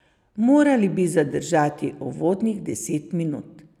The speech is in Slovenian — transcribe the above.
Morali bi zdržati uvodnih deset minut.